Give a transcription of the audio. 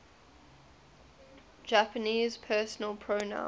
japanese personal pronouns